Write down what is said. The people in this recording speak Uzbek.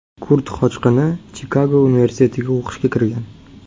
Kurd qochqini Chikago universitetiga o‘qishga kirgan.